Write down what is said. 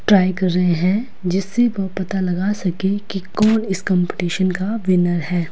Try कर रहे हैं जिससे वो पता लगा सके कि कौन इस कंपटीशन का विनर है।